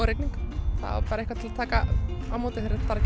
rigning það bara eitthvað til að taka á móti þegar þar